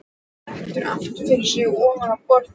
Dettur aftur fyrir sig ofan á borðið.